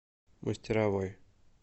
мастеровой